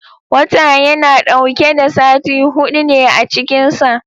Wata yana dauke da sati hudu ne a cikin sa